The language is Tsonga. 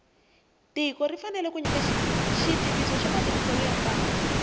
tiko ri fanele ku nyika xitiviso xa matirhiselo ya mali